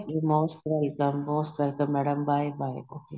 most welcome most welcome madam bye bye okay